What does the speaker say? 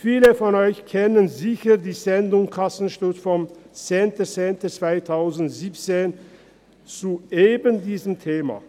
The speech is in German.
Viele von Ihnen kennen bestimmt die «Kassensturz»-Sendung vom 10. Oktober 2017 zu eben diesem Thema.